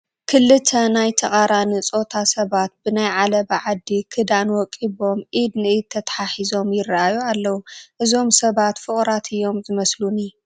ክልተ ናይ ተቓራኒ ፆታ ሰባት ብናይ ዓለባ ዓዲ ክዳን ወቂቦም ኢድ ንኢድ ተተሓሒዞም ይርአዩ ኣለው፡፡ እዞም ሰባት ፍቑራት እዮም ዝመስሉኒ፡፡